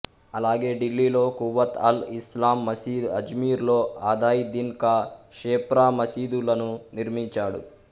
అలాగే ఢిల్లీలో కువ్వత్అల్ఇస్లాం మసీదు అజ్మీర్లో అధాయ్ దిన్ కా ఝోప్రా మసీదులను నిర్మించాడు